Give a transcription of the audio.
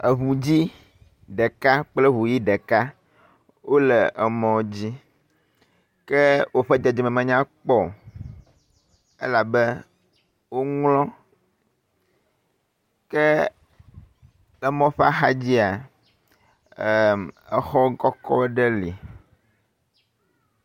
Eŋu dzɛ̃ ɖeka kple eŋu ʋi ɖeka wole emɔ dzi ke woƒe dedeme menyakpɔ o elabe, woŋlɔ ke emɔ ƒe axa dzia, exɔ kɔkɔ ɖe li.